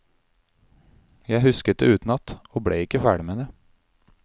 Jeg husket det utenat, og ble ikke ferdig med det.